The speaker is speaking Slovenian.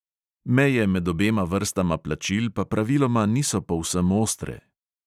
Meje med obema vrstama plačil pa praviloma niso povsem ostre.